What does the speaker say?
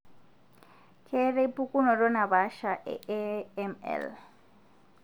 ketae pukunoto napaasha e AML.